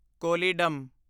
Kollidam